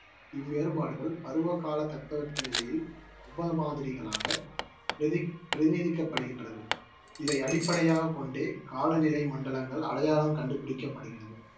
இவ்வேறுபாடுகள் பருவ கால தட்பவெப்பநிலையில் உப மாதிரிகளாக பிரதி~பிரதிநிதிக்கப்படுகின்றது. இதை அடிப்படையாகக் கொண்டே காலநிலை மண்டலங்கள் அடையாளம் கண்டுபிடிக்கப்படுகிறது.